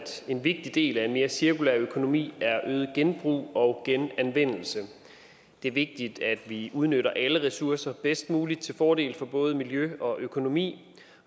en vigtig del af en mere cirkulær økonomi er øget genbrug og genanvendelse det er vigtigt at vi udnytter alle ressourcer bedst muligt til fordel for både miljø og økonomi